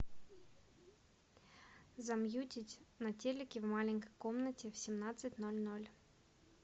замьютить на телике в маленькой комнате в семнадцать ноль ноль